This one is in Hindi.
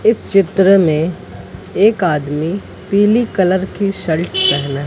इस चित्र में एक आदमी पीली कलर की शर्ट पहना।